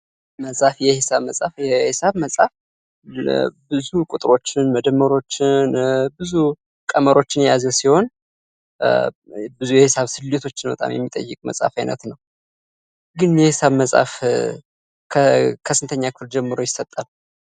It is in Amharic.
መፅሐፍ የሒሳብ መፅሐፍ የሒሳብ መፅሐፍ ብዙ ቁጥሮችን መደመሮችን ብዙ ቀመሮችን የያዘ ሲሆን ብዙ የሒሳብ ስሌቶችን በጣም የሚጠይቅ የመፅሐፍ አይነት ነው። ግን የሒሳብ መፅሐፍ ከስንተኛ ክፍል ጀምሮ ይሰጣል?